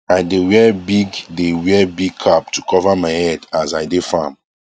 i dae wear big dae wear big cap to cover my head as i dae farm